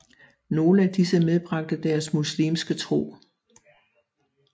Nogle af disse medbragte deres muslimske tro